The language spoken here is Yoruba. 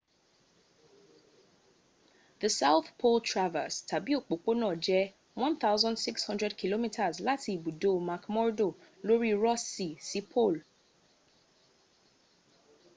the south pole traverse tàbí òpópónà jẹ́ 1600 km láti ibùdó mcmurdo lóri ross sea sí pole